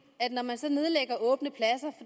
at når man så nedlægger åbne pladser